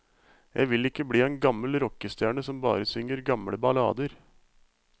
Jeg vil ikke bli en gammel rockestjerne som bare synger gamle ballader.